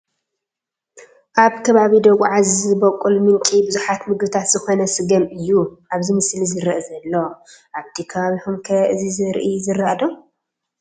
ኣብ ከባቢ ደጉዓ ዝቦቅል ምንጪ ብዙሓት ምግብታት ዝኾነ ስገም እዩ ኣብዚ ሞስሊ ዝርአ ዘሎ፡፡ ኣብቲ ከባቢኹም ከ እዚ ዘርኢ ይዝራእ ዶ?